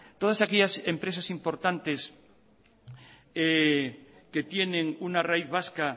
todas aquellas empresas importantes que tienen una raíz vasca